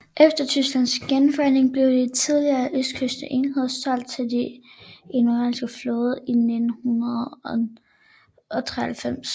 Efter Tysklands genforening blev de tidligere østtyske enheder solgt til den indonesiske flåde i 1993